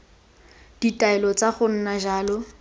ditaelo tsa go nna jalo